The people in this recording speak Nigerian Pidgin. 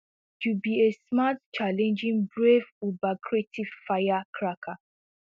you be a smart challenging brave ubercreative firecracker